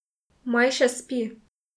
Maj še spi.